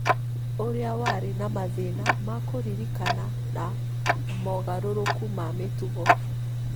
ũrĩa warĩ na mathĩna ma kũririkana na mogarũrũku ma mĩtugo